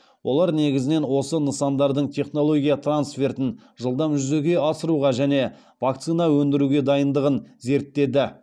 олар негізінен осы нысандардың технология трансфертін жылдам жүзеге асыруға және вакцина өндіруге дайындығын зерттеді